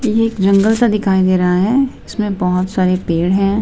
ये एक जंगल सा दिखाई दे रहा है इसमें बहुत सारे पेड़ हैं।